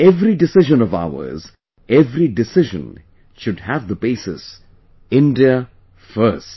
Every decision of ours, every decision should have the basis India First